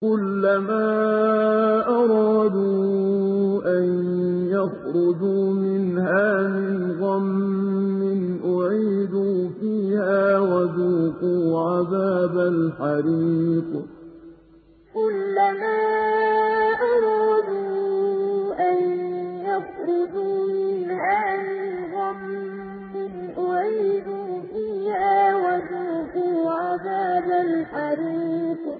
كُلَّمَا أَرَادُوا أَن يَخْرُجُوا مِنْهَا مِنْ غَمٍّ أُعِيدُوا فِيهَا وَذُوقُوا عَذَابَ الْحَرِيقِ كُلَّمَا أَرَادُوا أَن يَخْرُجُوا مِنْهَا مِنْ غَمٍّ أُعِيدُوا فِيهَا وَذُوقُوا عَذَابَ الْحَرِيقِ